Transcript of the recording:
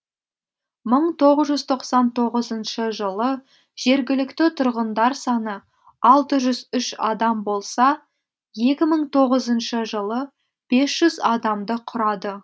мың тоғыз жүз тоқсан тоғызыншы жылы жергілікті тұрғындар саны алты жүз үш адам болса екі мың тоғызыншы жылы бес жүз адамды құрады